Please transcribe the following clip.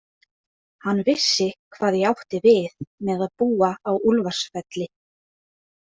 Hann vissi hvað ég átti við með að búa á Úlfarsfelli.